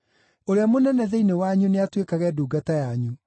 Ũrĩa mũnene thĩinĩ wanyu nĩatuĩkage ndungata yanyu.